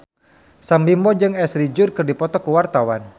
Sam Bimbo jeung Ashley Judd keur dipoto ku wartawan